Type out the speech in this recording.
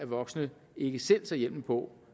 voksne ikke selv tager hjelmen på